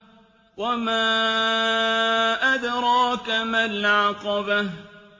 وَمَا أَدْرَاكَ مَا الْعَقَبَةُ